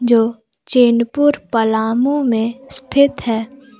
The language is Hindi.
जो चैनपुर पलामू में स्थित है।